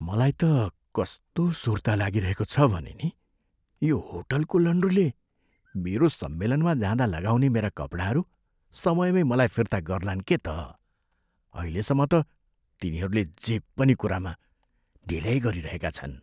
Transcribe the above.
मलाई त कस्तो सुर्ता लागिरहेको छ भने नि, यो होटलको लन्ड्रीले मेरो सम्मेलनमा जाँदा लगाउने मेरा कपडाहरू समयमै मलाई फिर्ता गर्लान् के त। अहिलेसम्म त, तिनीहरूले जे पनि कुरामा ढिल्याई गरिरहेका छन्।